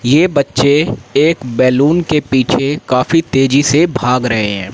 ये बच्चे एक बैल्लू के पीछे काफी तेजी से भाग रहे--